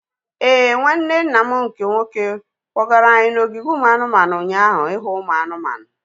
Éè, nwanne nna m nke nwoke kpọgara anyị n'ogige ụmụ anụmanụ ụnyaahụ ihu ụmụ anụmanụ